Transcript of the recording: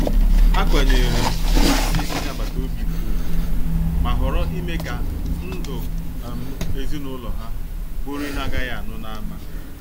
Ha kwanyere mmasị onye agbata obi ugwu, ma họọrọ ime ka ndụ um ezinụlọ ha bụrụ ihe agaghi anu n'ama.